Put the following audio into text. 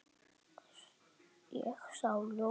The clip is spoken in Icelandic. Ég sá ljósið